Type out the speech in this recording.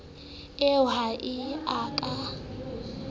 eo ha e a ka